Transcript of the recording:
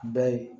Bɛɛ ye